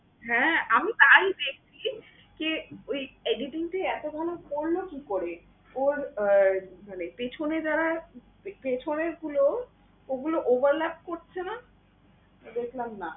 হ্যাঁ আমি তাই দেখছি কে ওই editing টা এতো ভালো করলো কি করে? ওর আহ মানে পিছনে যারা পিছনে ছিল, ওগুলো করছেনা? দেখলাম না।